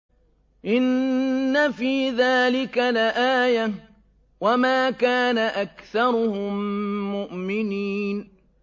إِنَّ فِي ذَٰلِكَ لَآيَةً ۖ وَمَا كَانَ أَكْثَرُهُم مُّؤْمِنِينَ